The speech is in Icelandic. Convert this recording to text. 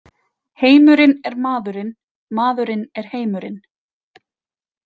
Heimurinn er maðurinn, maðurinn er heimurinn.